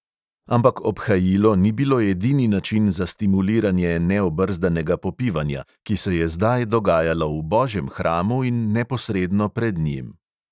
Ampak obhajilo ni bilo edini način za stimuliranje neobrzdanega popivanja, ki se je zdaj dogajalo v božjem hramu in neposredno pred njim.